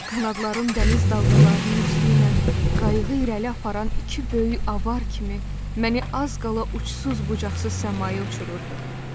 Qanadlarım dəniz dalğalarının üstündən qayığı irəli aparan iki böyük avar kimi məni az qala uçsuz-bucaqsız səmaya uçururdu.